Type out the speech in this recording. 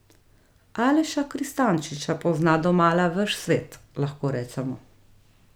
Aleša Kristančiča pozna domala ves svet, lahko rečemo.